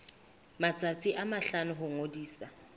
matsatsi a mahlano ho ngodisa